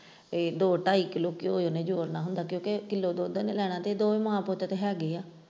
ਤੇ ਦੋ ਢਾਈ ਕਿਲੋ ਘਿਉ ਉਹਨੇ ਜੋੜਨਾ ਹੁੰਦਾ ਤੇ ਕਿਲੋ ਦੁੱਧ ਉਹਨੇ ਲੈਣਾ ਤੇ ਦੋਵੇਂ ਮਾਂ ਪੁੱਤ ਤੇ ਹੈ ਗੇ ਹੈ।